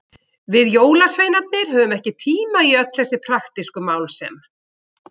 Við jólasveinarnir höfum ekki tíma í öll þessi praktísku mál sem.